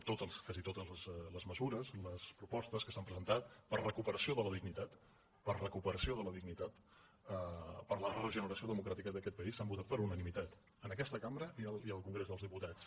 totes quasi totes les mesures i les propostes que s’han presentat per a la recuperació de la dignitat per a la recuperació de la dignitat per a la regeneració democràtica d’aquest país s’han votat per unanimitat en aquesta cambra i al congrés dels diputats